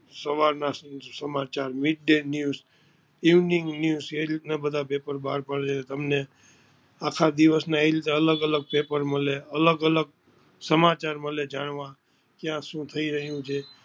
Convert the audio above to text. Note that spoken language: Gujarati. સવાર ના સમાચાર meet and news evening news એ રીત ના બધા પેપર બાર પડે આટલે તમને આખા દિવસ એ રીતે અલગ અલગ પેપર મળે અલગ અલગ સમાચાર મળે જાણવા કયા શું થઈ રહિયું છે.